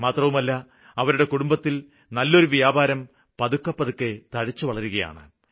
മാത്രമല്ല അവരുടെ കുടുംബത്തില് നല്ലൊരു വ്യാപാരം പതുക്കെ പതുക്കെ തഴച്ചു വളരുകയാണ്